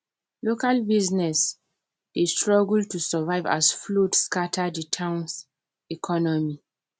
local business dey struggle to survive as flood scatter the towns economy